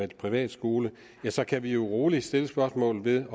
privatskole ja så kan vi rolig stille spørgsmålet